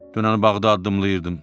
Dünən Bağdadda addımlayırdım.